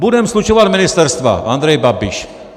Budeme slučovat ministerstva - Andrej Babiš.